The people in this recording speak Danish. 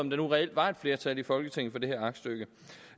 nu reelt var et flertal i folketinget for det her aktstykke